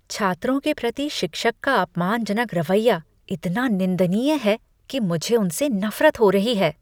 छात्रों के प्रति शिक्षक का अपमानजनक रवैया इतना निंदनीय है कि मुझे उनसे नफ़रत हो रही है।